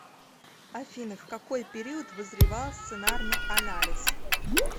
афина в какой период вызревал сценарный анализ